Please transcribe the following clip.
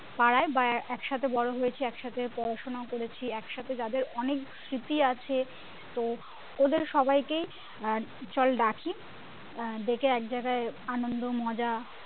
পাড়ায় বা একসাথে বড়ো হয়েছি একসাথে পড়াশোনা করেছি একসাথে যাদের অনেক স্মৃতি আছে তো ওদের সবাইকেই আহ চল ডাকি আহ ডেকে একজায়গায় আনন্দ মজা